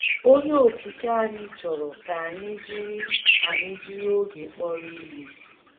Onye Okike anyị chọrọ ka anyị jiri anyị jiri oge kpọrọ ihe.